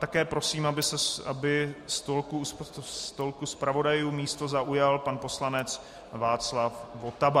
Také prosím, aby u stolku zpravodajů místo zaujal pan poslanec Václav Votava.